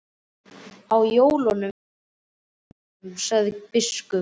Á jólum verðum við á Hólum, sagði biskup.